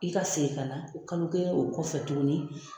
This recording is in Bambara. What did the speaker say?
I ka segin ka na o kalo kelen o kɔfɛ tuguni